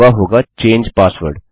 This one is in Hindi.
और वह होगा चंगे पासवर्ड